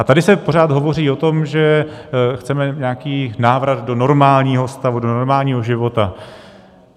A tady se pořád hovoří o tom, že chceme nějaký návrat do normálního stavu, do normálního života.